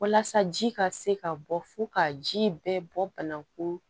Walasa ji ka se ka bɔ fo ka ji bɛɛ bɔ banakun